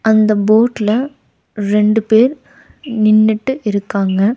அந்த போட்ல ரெண்டு பேர் நின்னுட்டு இருக்காங்க.